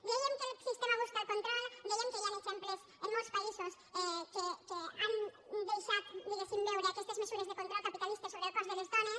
dèiem que el sistema busca el control dèiem que hi han exemples en molts països que han deixat diguéssim veure aquestes mesures de control capitalista sobre el cos de les dones